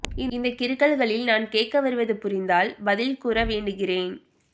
இந்த கிறுக்கல்களில் நான் கேட்க வருவது புரிந்தால் பதில் கூற வேண்டுகிறேன்